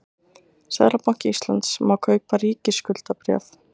seðlabanki íslands má kaupa ríkisskuldabréf